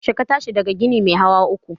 Yaushe ka tashi daga ginin mai hawa uku?